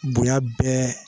Bonya bɛɛ